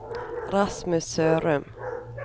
Rasmus Sørum